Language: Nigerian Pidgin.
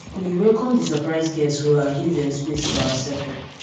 we welcome di surprise guests well and give dem space for our circle